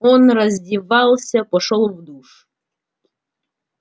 он раздевался пошёл в душ